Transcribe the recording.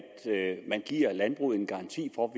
man giver landbruget en garanti for